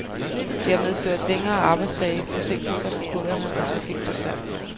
Det har medført længere arbejdsdage, forsinkelser for kunderne og trafikbesvær.